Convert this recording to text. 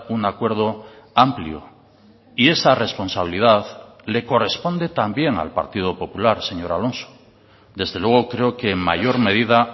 un acuerdo amplio y esa responsabilidad le corresponde también al partido popular señor alonso desde luego creo que en mayor medida